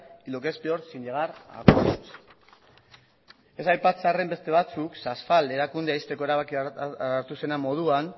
y lo que es peor sin llegar a acuerdos ez aipatzearren beste batzuk erakundea ixteko erabakia hartu zenean moduan